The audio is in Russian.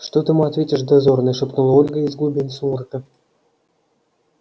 что ты ему ответишь дозорный шепнула ольга из глубин сумрака